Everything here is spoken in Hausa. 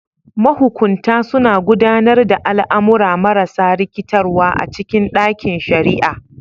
Mahukunta suna gudanar da al'amura marasa rikitarwa a cikin ɗakin shari'a.